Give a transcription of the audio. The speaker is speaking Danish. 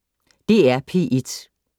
DR P1